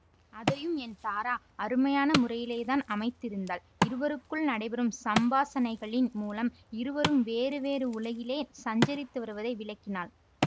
அதையும் என் தாரா அருமையான முறையிலேதான் அமைத்திருந்தாள் இருவருக்குள் நடைபெறும் சம்பாஷணைகளின் மூலம் இருவரும் வேறு வேறு உலகிலே சஞ்சரித்து வருவதை விளக்கினாள்